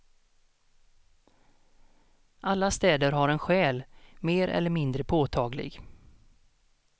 Alla städer har en själ, mer eller mindre påtaglig.